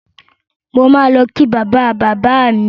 Mo máa lọ kí bàba-bàbá mi